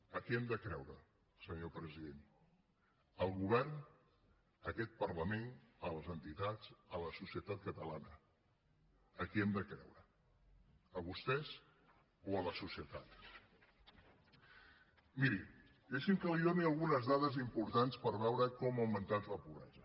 a qui hem de creure senyor president al govern a aquest parlament a les entitats a la societat catalana a qui hem de creure a vostès o a la societat miri deixi’m que li doni algunes dades importants per veure com ha augmentat la pobresa